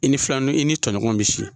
I ni filanin i ni tɔɲɔgɔn bɛ si.